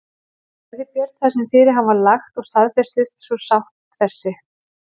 Gerði Björn það sem fyrir hann var lagt og staðfestist svo sátt þessi.